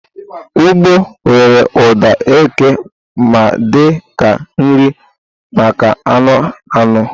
ugbo nwere ụda eke ma dị ka nri maka anụ anụ.